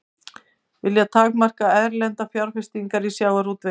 Vilja takmarka erlendar fjárfestingar í sjávarútvegi